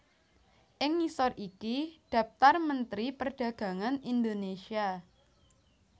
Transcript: Ing ngisor iki dhaptar Mentri Perdagangan Indonésia